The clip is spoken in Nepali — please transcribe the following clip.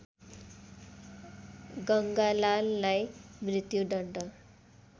गङ्गालाललाई मृत्युदण्ड